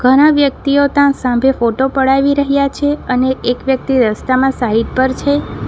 ઘણા વ્યક્તિઓ તા સાંભે ફોટો પડાવી રહ્યા છે અને એક વ્યક્તિ રસ્તામાં સાઈડ પર છે.